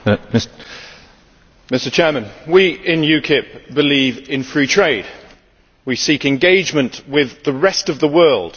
Mr President, we in UKIP believe in free trade we seek engagement with the rest of the world